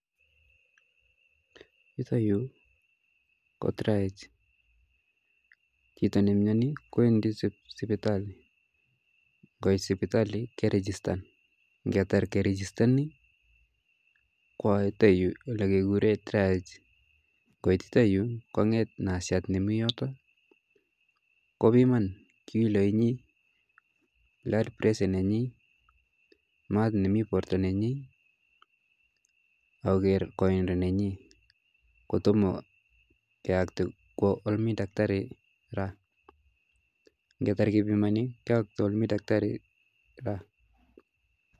Yuto yuu ko traels, chito nemioni kowendi sipitali koit sipitali kerigistan ng'etar kerigistoni kwo yuton yuu kikuren traels, koitita yuu kong'et nasiat nemiyotok kobiman kiloinyin ak pressure nenyin maat nemi borto nenyin ak koker koindo nenyin, kotomo koyokto kwo olemii takitari kora, ng'etar kebimoni kiyokto kwo yemii taktari kora.